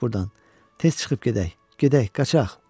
Tez çıxıb gedək, gedək, qaçaq!